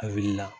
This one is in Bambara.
A wulila